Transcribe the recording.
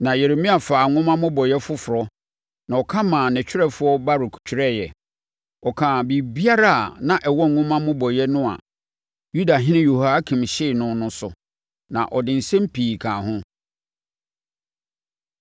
Na Yeremia faa nwoma mmobɔeɛ foforɔ, na ɔka maa ne twerɛfoɔ Baruk twerɛeɛ. Ɔkaa biribiara a na ɛwɔ nwoma mmobɔeɛ no a Yudahene Yehoiakim hyee no no so. Na ɔde nsɛm pii kaa ho.